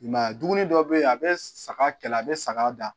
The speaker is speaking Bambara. I ma ye a dumuni dɔ be yen a be saga kɛlɛ a be saga da